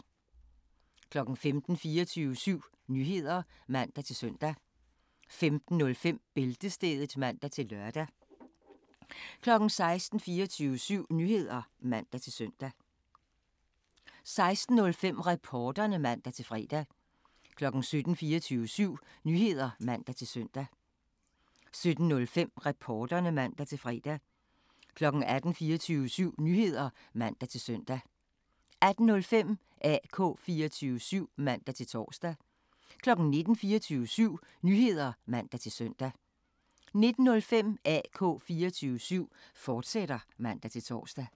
15:00: 24syv Nyheder (man-søn) 15:05: Bæltestedet (man-lør) 16:00: 24syv Nyheder (man-søn) 16:05: Reporterne (man-fre) 17:00: 24syv Nyheder (man-søn) 17:05: Reporterne (man-fre) 18:00: 24syv Nyheder (man-søn) 18:05: AK 24syv (man-tor) 19:00: 24syv Nyheder (man-søn) 19:05: AK 24syv, fortsat (man-tor)